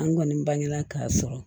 An kɔni bangena k'a sɔrɔ